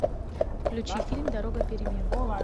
включи фильм дорога перемен